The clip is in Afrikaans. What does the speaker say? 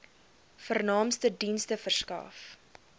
vernaamste dienste verskaf